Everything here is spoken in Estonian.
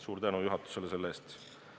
Suur tänu juhatusele selle eest!